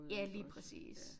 Ja lige præcis